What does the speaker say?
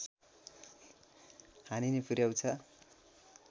हानि नै पुर्‍याउँछ